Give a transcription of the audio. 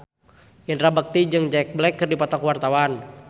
Indra Bekti jeung Jack Black keur dipoto ku wartawan